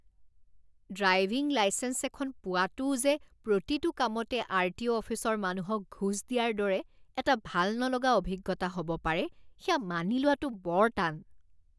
Driving licence এখন পোৱাটোও যে প্ৰতিটো কামতে আৰটিঅ' অফিচৰ মানুহক ঘোচ দিয়াৰ দৰে এটা ভাল নলগা অভিজ্ঞতা হ'ব পাৰে সেয়া মানি লোৱাটো বৰ টান।